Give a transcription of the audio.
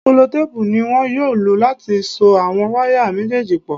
Sẹlotéèpù ni wọn yóò lò láti so àwọn wáyà méjèèjì pọ̀